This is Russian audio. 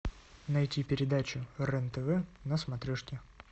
найти передачу рен тв на смотрешке